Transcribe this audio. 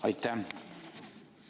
Aitäh!